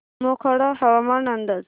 मोखाडा हवामान अंदाज